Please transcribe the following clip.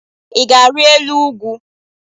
I ga-ari elu ugwu?